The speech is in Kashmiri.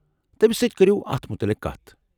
تمِس سۭتۍ كرِیو اتھ متعلق كتھ ۔